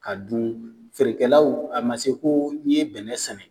Ka dun, feerekɛlaw a ma se ko n'i ye bɛnɛ sɛnɛ